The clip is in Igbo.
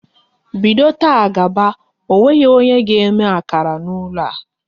Bido taa gaba, ọ nweghị onye ga eme akara n'ụlọ a!